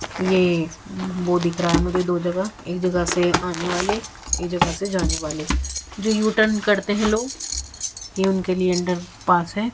ये वो दिख रहा है मुझे दो जगह एक जगह से आने वाले एक जगह से जाने वाले जो यू टर्न करते हैं लोग ये उनके लिए अंडर पास है।